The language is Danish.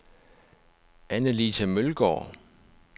Anne-Lise Mølgaard